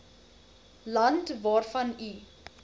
land waarvan u